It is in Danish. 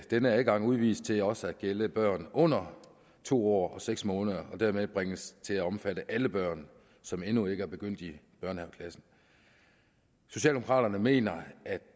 denne adgang udvides til også at gælde børn under to år og seks måneder og dermed bringes til at omfatte alle børn som endnu ikke er begyndt i børnehaveklassen socialdemokraterne mener at